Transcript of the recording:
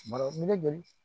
joli